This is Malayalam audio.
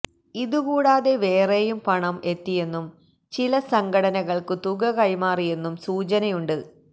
ഇതു കൂടാതെ വേറെയും പണം എത്തിയെന്നും ചില സംഘടനകൾക്കു തുക കൈമാറിയെന്നും സൂചനയുണ്ട്